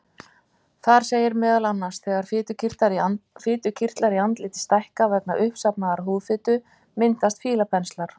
Þar segir meðal annars: Þegar fitukirtlar í andliti stækka vegna uppsafnaðrar húðfitu myndast fílapenslar.